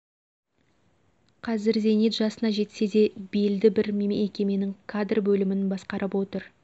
қазір зейнет жасына жетсе де белді бір мекеменің кадр бөлімін басқарып отыр